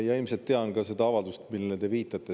Ma ilmselt tean ka seda avaldust, millele te viitasite.